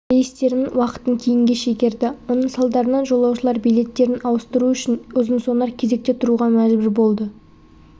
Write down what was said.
рейстерінің уақытын кейінге шегерді оның салдарынан жолаушылар билеттерін ауыстыру үшін ұзын-сонар кезекте тұруға мәжбүр болды